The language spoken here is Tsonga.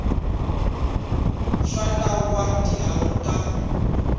swa nawu wa tihakelo ta